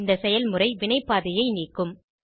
இந்த செயல்முறை வினைபாதையை நீக்கும்